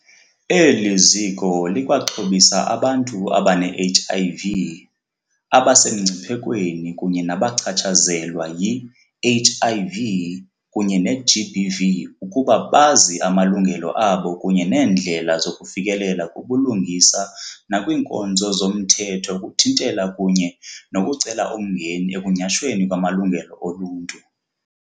Eli ziko likwaxhobisa abantu abane-HIV, abasemngciphekweni kunye nabachatshazelwa yi-HIV kunye ne-GBV ukuba bazi amalungelo abo kunye neendlela zokufikelela kubulungisa nakwiinkonzo zomthetho ukuthintela kunye nokucela umngeni ekunyhashweni kwamalungelo oluntu.